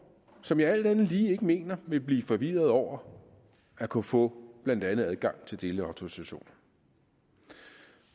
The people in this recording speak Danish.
som jeg alt andet lige ikke mener vil blive forvirrede over at kunne få blandt andet adgang til delautorisationer